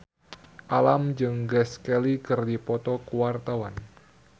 Alam jeung Grace Kelly keur dipoto ku wartawan